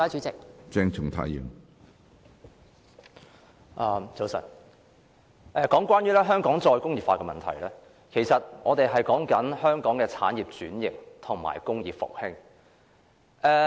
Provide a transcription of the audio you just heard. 早晨，我們討論香港"再工業化"的問題，其實是在討論香港的產業轉型和工業復興。